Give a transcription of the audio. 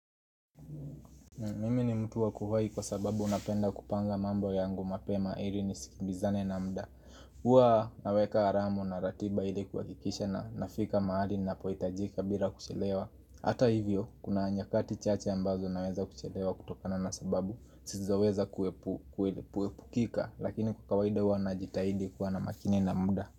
Mimini mtu wa kuwahi kwa sababu napenda kupanga mambo yangu mapema ili ni sikilizane na muda Hua naweka alarmu na ratiba ili kuha kikisha na nafika mahali na pohitajika bila kuchelewa Hata hivyo, kuna nyakati chache ambazo naweza kuchelewa kutokana na sababu Sizaweza kuwepukika, lakini kwa kawaida hua na jitahidi kuwa na makini na muda.